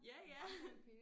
Ja ja